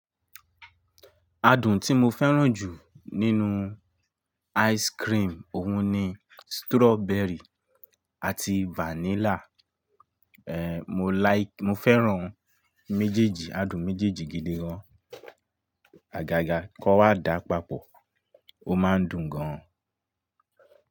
Adùn tí mo fẹ́ràn jù nínú ice cream òun ni strawberry àti vanilla. En, mo like, mo fẹ́ràn méjèèjì, adùn méjèèjì gidi gan. Àgàgà kó wa dà papọ̀, ó máa ń dùn gan.